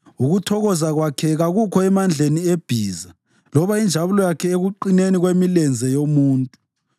Ukuthokoza kwakhe kakukho emandleni ebhiza, loba injabulo yakhe ekuqineni kwemilenze yomuntu;